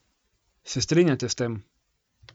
Se strinjate s tem?